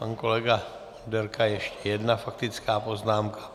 Pan kolega Onderka, ještě jedna faktická poznámka.